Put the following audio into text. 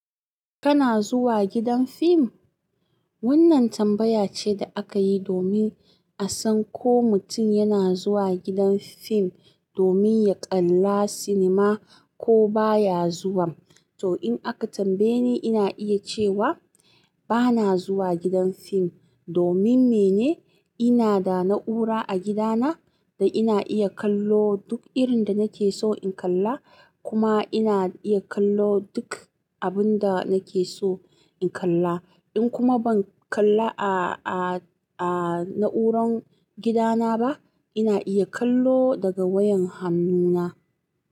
Kana zuwa gidan fim? Wannan tambaya ce da aka yi domin a san ko mutum yana zuwa gidan fim domin ya kalla sinima ko ba ya zuwa. To, in aka tambaye ni, ina iya cewa ba na zuwa gidan fim domin mene? Ina da na'ura a gidana da ina iya kallo duk irin da nake so in kalla, kuma ina iya kallo duk abin da nake so in kalla. In kuma ban kalla a, a, a na'urar gidana ba, ina iya kallo daga wayar hannuna.